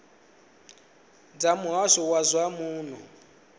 dza muhasho wa zwa muno